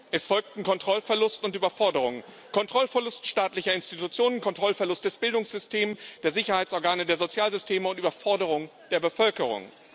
Es folgten Kontrollverlust und Überforderung Kontrollverlust staatlicher Institutionen, Kontrollverlust des Bildungssystems, der Sicherheitsorgane, der Sozialsysteme und Überforderung der Bevölkerung.